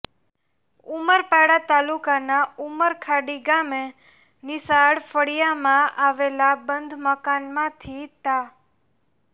ઉમરપાડા તાલુકાના ઉમરખાડી ગામે નિશાળ ફળિયામાં આવેલા બંધ મકાનમાંથી તા